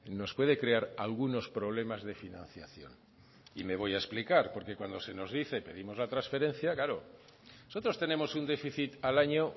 nos puede crear algunos problemas de financiación y me voy a explicar porque cuando se nos dice pedimos la transferencia claro nosotros tenemos un déficit al año